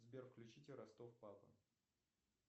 сбер включите ростов папа